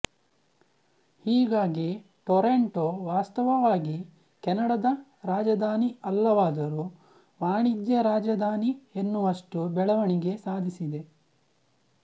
ಹೀಗಾಗಿ ಟೊರಾಂಟೋ ವಾಸ್ತವವಾಗಿ ಕೆನಡಾದ ರಾಜಧಾನಿ ಅಲ್ಲವಾದರೂ ವಾಣಿಜ್ಯ ರಾಜಧಾನಿ ಎನ್ನುವಷ್ಟು ಬೆಳವಣಿಗೆ ಸಾಧಿಸಿದೆ